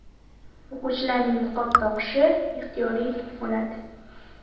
O‘quvchilarning niqob taqishi ixtiyoriy bo‘ladi.